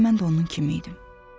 Elə mən də onun kimi idim.